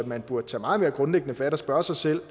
man burde tage meget mere grundlæggende fat og spørge sig selv